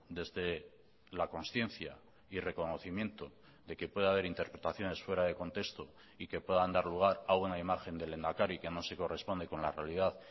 desde la conciencia y reconocimiento de que pueda haber interpretaciones fuera de contexto y que puedan dar lugar a una imagen del lehendakari que no se corresponde con la realidad